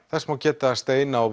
þess má geta að steina og